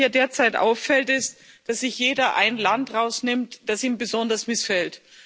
Was mir hier derzeit auffällt, ist, dass sich jeder ein Land herausnimmt, das ihm besonders missfällt.